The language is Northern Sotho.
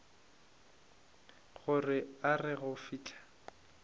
gore a re go fihla